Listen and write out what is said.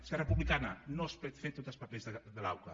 esquerra republicana no es poden fer tots els papers de l’auca